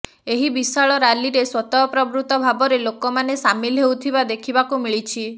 ଏହି ବିଶାଳ ରାଲିରେ ସ୍ୱତଃପ୍ରବୃତ ଭାବରେ ଲୋକମାନେ ସାମିଲ ହେଉଥିବା ଦେଖିବାକୁ ମିଳିଛି